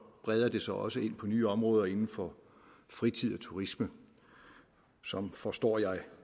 breder det sig også ind på nye områder inden for fritid og turisme som forstår jeg